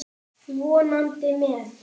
Vonandi með.